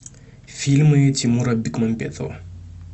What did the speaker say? фильмы тимура бекмамбетова